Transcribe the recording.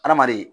Adamaden